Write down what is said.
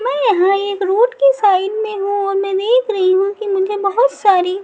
मैं यहाँ एक रोड के साइड में हूँ मैं देख रही हूँ कि मुझे बहुत सारी --